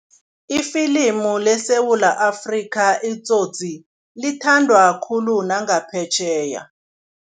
Ifilimu leSewula Afrika iTsotsi lithandwa khulu nangaphetjheya.